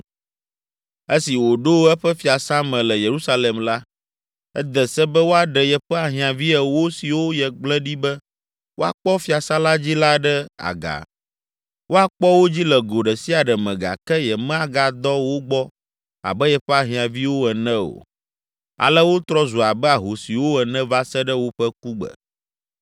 Esi wòɖo eƒe fiasã me le Yerusalem la, ede se be woaɖe yeƒe ahiãvi ewo siwo yegblẽ ɖi be woakpɔ fiasã la dzi la ɖe aga, woakpɔ wo dzi le go ɖe sia ɖe me gake yemagadɔ wo gbɔ abe yeƒe ahiãviwo ene o. Ale wotrɔ zu abe ahosiwo ene va se ɖe woƒe kugbe.